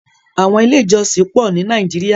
Àwọn ilé-ìjọsìn pọ̀ ní Nàíjíríà.